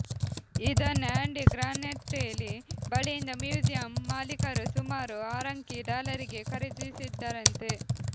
ಇದನ್ನು Andy Granatelli ಬಳಿಯಿಂದ museum ಮಾಲೀಕರು ಸುಮಾರು ಆರಂಕಿ ಡಾಲರಿಗೆ ಖರೀದಿಸಿದ್ದರಂತೆ